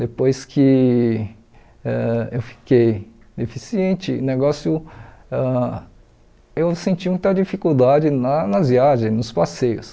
Depois que ãh eu fiquei deficiente, o negócio ãh eu senti muita dificuldade na nas viagens, nos passeios.